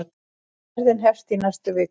Ferðin hefst í næstu viku.